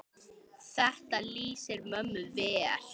Þetta lýsir mömmu vel.